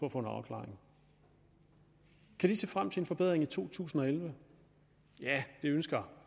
at få en afklaring se frem til en forbedring i 2011 det ønsker